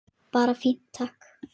Bara fínt, takk!